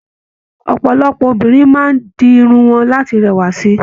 Ọpọlọpọ obìnrin máa di irun wọn láti rẹwa sí.